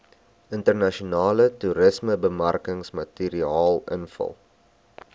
internasionale toerismebemarkingsmateriaal invul